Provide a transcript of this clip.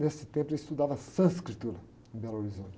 Nesse tempo ele estudava sânscrito em Belo Horizonte.